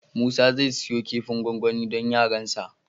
Musa zai siyo kifin gwangwani don yaransa.